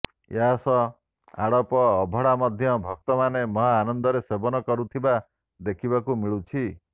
ଏହାସହ ଆଡପ ଅଭଡା ମଧ୍ୟ ଭକ୍ତାମାନେ ମହା ଆନନ୍ଦରେ ସେବନ କରୁଥିବା ଦେଖିବାକୁ ମିଳୁଛି